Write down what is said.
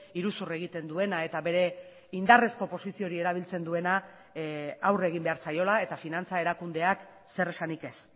iruzur egiten duena eta bere indarrezko posizio hori erabiltzen duena aurre egin behar zaiola eta finantza erakundeak zer esanik ez